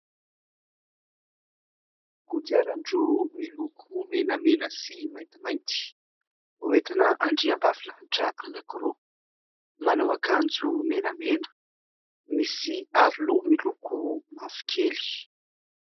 Kodiaran-droa miloko menamena sy maintimainty entina andriambavilanitra anankiroa, manao akanjo menamena, misy aroloha miloko mavokely.